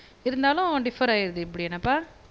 இருந்தாலும் டிஃப்ஃபர் ஆய்ருது இப்படி என்னப்பா